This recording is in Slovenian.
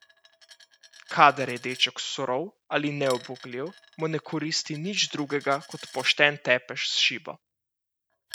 Kadar je deček surov ali neubogljiv, mu ne koristi nič drugega kot pošten tepež s šibo.